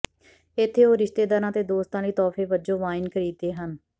ਇੱਥੇ ਉਹ ਰਿਸ਼ਤੇਦਾਰਾਂ ਅਤੇ ਦੋਸਤਾਂ ਲਈ ਤੋਹਫ਼ੇ ਵਜੋਂ ਵਾਈਨ ਖਰੀਦਦੇ ਹਨ